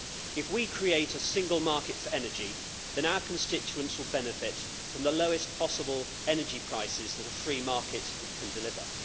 If we create a single market for energy then our constituents will benefit from the lowest possible energy prices that a free market can deliver.